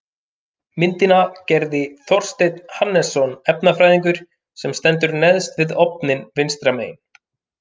Myndina gerði Þorsteinn Hannesson efnafræðingur sem stendur neðst við ofninn vinstra megin.